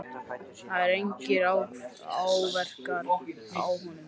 Það eru engir áverkar á honum.